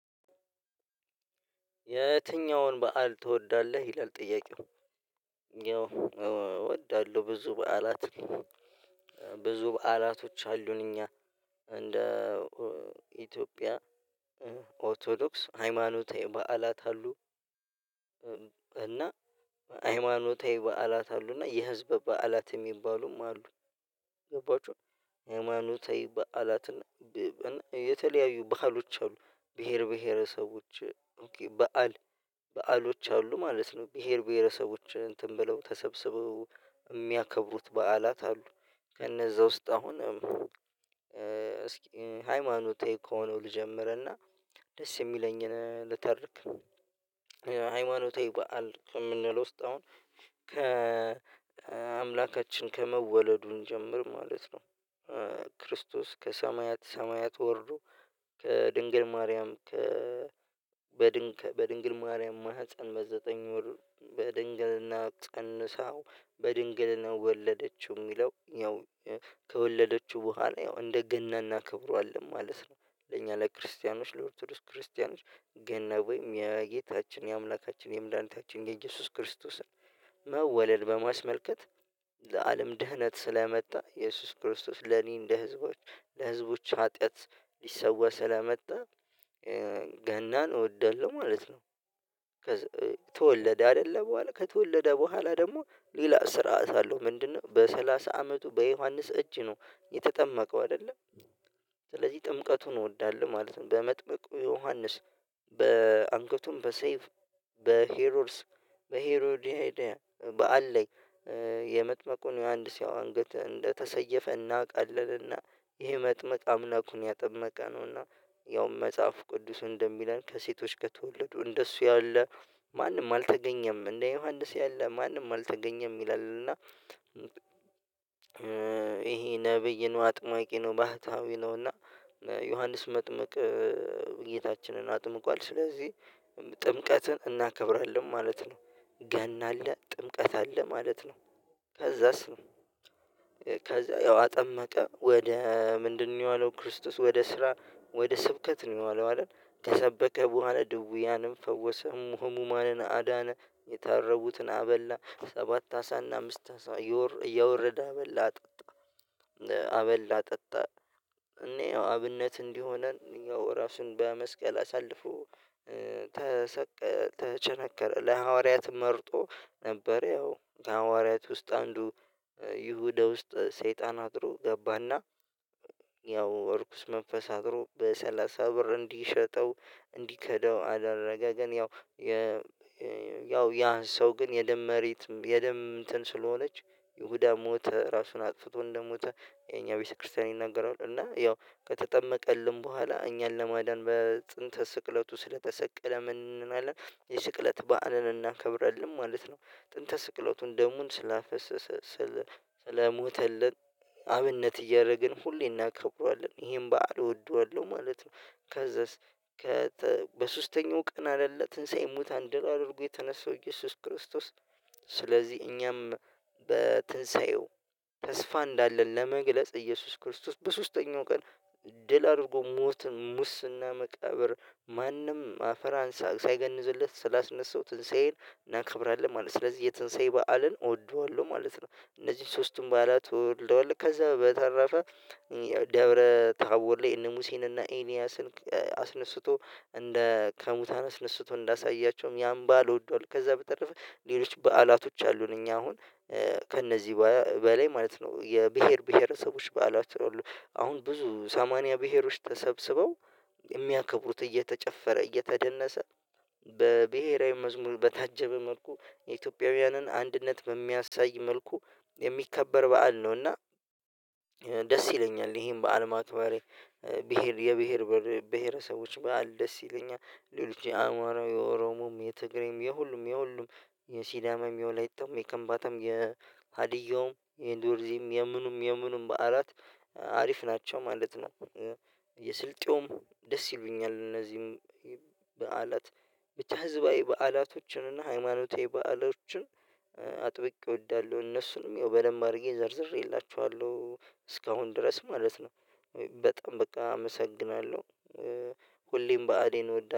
የትኛውን በዓል ትወዳለህ ይላል ጥያቄው? እወዳለሁ ብዙ በዓላት ብዙ በዓላቶች አሉን እኛ እንደ ኢትዮጵያ ኦርቶዶክስ ሃይማኖታዊ በዓላት አሉ። እና ሃይማኖታዊ በዓላት አሉና የህዝብ በዓላት የሚባሉም አሉ። ገባችሁ ሃይማኖታዊ በዓላትን የተለያዩ በዓሎች አሉ ብሄር ብሄረሰቦች በዓል በዓሎች አሉ ማለት ነው። ብሄር ብሄረሰቦች እንትን ብለው ተሰብስበው በዓላት አሉ ከነዛ ውስጥ አሁን እስኪ ሃይማኖታዊ ከሆነው ልጀምርና ደስ የሚለኝን ልተርክ። ሃይማኖታዊ በዓል ከምንለው ውስጥ ከአምላካችን ከመወለዱ እንጀምር ማለት ነው። ክርስቶስ ከሰማያት ሰማያት ወርዶ ከድንግል ማርያም በድንግል ማርያም ማህፀን በዘጠኝ ወር በድንግልና ፀንሳው በድንግልና ወለደችው የሚለው ያው ከወለደችው በኋላ ያው እንደገና እናከብረዋለን ማለት ነው። ለእኛ ለክርስቲያኖች ለኦርቶዶክስ ክርስቲያኖች ገና ወይም የጌታችን የአምላካችን የምድኃኒታችን የኢየሱስ ክርስቶስን መወለድ በማስመልከት ለአለም ድህነት ስለመጣ ኢየሱስ ክርስቶስ ለኔ እንደ ህዝቦች ለህዝቦች ኃጢአት ሊሰዋ ስለመጣ ገናን እወዳለሁ ማለት ነው። ከዛ ተወለደ አይደለ በኋላ ከተወለደ በኋላ ደግሞ ሌላ ስርዓት አለው ምንድነው በሰላሳ አመቱ በዮሐንስ እጅ ነው የተጠመቀው አይደለ? ስለዚህ ጥምቀቱን እወዳለሁ ማለት ነው። በመጥምቁ ዮሐንስ በአንገቱም በሰይፍ በሄሮድስ በዓል ላይ የመጥመቁን ዮሐንስ ያው አንገት እንደተሰየፈ እናቃለን። እና ይሄ መጥምቅ አምላኩን ያጠመቀ ነውና ያውም መጽሐፉ ቅዱሱ እንደሚለን ከሴቶች ከተወለዱ እንደሱ ያለ ማንም አልተገኘም እንደ ዮሐንስ ያለ ማንም አልተገኘም ይላል። እና ይሄ ነብይ ነው አጥማቂ ነው ባህታዊ ነው እና ዮሐንስ መጥምቅ ጌታችንን አጥምቋል ስለዚህ ጥምቀትን እናከብራለን ማለት ነው። ገና አለ ጥምቀት አለ ማለት ነው። ከዛስ ነው ከዛ ያው አጠመቀ ወደ ምንድነው የዋለው ክርስቶስ ወደ ስራ ወደ ስብከት ነው የዋለው አይደል? ከሰበከ በኋላ ድውያንም ፈወሰ ህሙማንን አዳነ የታረቡትን አበላ ሰባት አሳና አምስት አሳ እያወረደ አበላ አጠጣ። አበላ አጠጣ እኔ አብነት እንዲሆነን ያው ራሱን በመስቀል አሳልፎ ተቸነከረ ለሐዋርያት መርጦ ነበር ያው ሐዋርያት ውስጥ አንዱ ይሁዳ ውስጥ ሰይጣን አድሮ ገባና ያው እርኩስ መንፈስ አድሮ በሰላሳ ብር እንዲሸጠው እንዲከዳው አደረገ። ያው ያ ሰው ግን የደም መሬት የደም እንትን ስለሆነች ይሁዳ ሞተ ራሱን አጥፍቶ እንደሞተ የኛ ቤተክርስቲያን ይናገራሉ። እና ያው ከተጠመቀልን በኋላ እኛን ለማዳን በጥንተ ስቅለቱ ስለተሰቀለ ምን እናላለን የስቅለት በዓልን እናከብራለን ማለት ነው። ጥንተ ስቅለቱን ደሙን ስላፈሰሰ ስለሞተልን አብነት እያደረግን ሁሌ እናከብርዋለን ይሄን በዓል እወደዋለሁ ማለት ነው። ከዛስ በሶስተኛው ቀን አይደለ ትንሳኤ ሙታነ ደል አድርጎ የተነሳው ኢየሱስ ክርስቶስ። ስለዚህ እኛም በትንሳኤው ተስፋ እንዳለን ለመግለጽ ኢየሱስ ክርስቶስ በሶስተኛው ቀን ድል አድርጎ ሞት ሙስና መቃብር ማንም አፈራ አንሳ ሳይገንዝለት ስላስነሳው ትንሳኤን እናከብራለን ማለት ነው። ስለዚህ የተንሳይ በዓልን እወደዋለሁ ማለት ነው። እነዚህ ሶስቱም በዓላት እወደዋለሁ ከዛ በተረፈ ደብረ ታቦር ላይ እነ ሙሴን እና ኤልያስን አስነስቶ እንደ ከሙታን አስነስቶ እንዳሳያቸውም ያን በዓል እወድዋለሁ። ከዛ በተረፈ ሌሎች በዓላቶች አሉን እኛ አሁን ከእነዚህ በላይ ማለት ነው። የብሄር ብሄረሰቦች በዓላቶች አሉ አሁን ብዙ ሰማንያ ብሄሮች ተሰብስበው የሚያከብሩት እየተጨፈረ እየተደነሰ በብሄራዊ መዝሙር በታጀበ መልኩ የኢትዮጵያውያንን አንድነት በሚያሳይ መልኩ የሚከበር በዓል ነው። እና ደስ ይለኛል ይሄን በዓል ማክበሬ። ብሄር የብሄር ብሄረሰቦች በዓል ደስ ይለኛል ሌሎች የአማራ የኦሮሞም የትግሬም የሁሉም የሁሉም የሲዳማም የወላይታውም የከንባታም የሀዲያውም የዶርዜም የምኑም የምኑም በዓላት አሪፍ ናቸው ማለት ነው። የስልጤውም ደስ ይሉኛል። እነዚህም በዓላት ብቻ ህዝባዊ በዓላቶችን እና ሃይማኖታዊ በዓሎችን አጥብቄ እወዳለሁ እነሱንም ያው በደንብ አድርጌ ዘርዝሬላችኋለሁ እስካሁን ድረስ ማለት ነው። በጣም በቃ አመሰግናለሁ ሁሌም በዓሌን እወዳለሁ